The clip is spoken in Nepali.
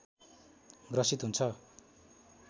ग्रसित हुन्छ